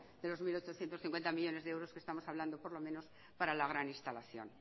de los mil ochocientos cincuenta millónes de euros que estamos hablando por lo menos para la gran instalación